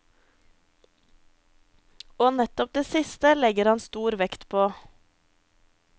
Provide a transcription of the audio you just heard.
Og nettopp det siste legger han stor vekt på.